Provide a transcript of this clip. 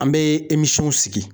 An bɛ sigi.